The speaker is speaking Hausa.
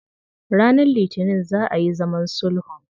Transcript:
Ranar Litinin za a yi zaman sulhun.